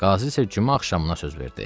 Qazı isə cümə axşamına söz verdi.